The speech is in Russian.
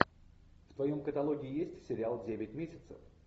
в твоем каталоге есть сериал девять месяцев